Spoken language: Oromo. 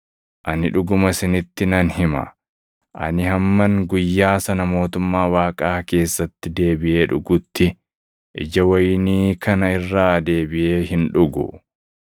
Ani dhuguma isinitti nan hima; ani hamman guyyaa sana mootummaa Waaqaa keessatti deebiʼee dhugutti ija wayinii kana irraa deebiʼee hin dhugu.”